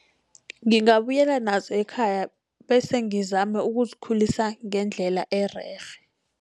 Ngingabuyela nazo ekhaya bese ngizame ukuzikhulisa ngendlela ererhe.